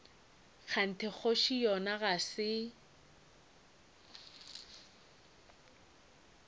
kganthe kgoši yona ga se